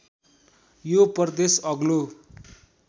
यो प्रदेश अग्लो